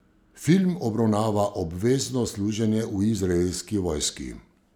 Film obravnava obvezno služenje v izraelski vojski.